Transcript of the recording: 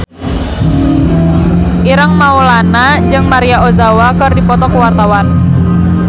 Ireng Maulana jeung Maria Ozawa keur dipoto ku wartawan